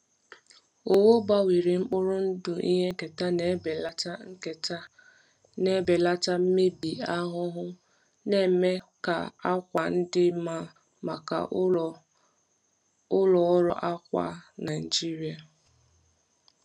Owu gbanwere mkpụrụ ndụ ihe nketa na-ebelata nketa na-ebelata mmebi ahụhụ, na-eme ka àkwà dị mma maka ụlọ ọrụ akwa Naijiria.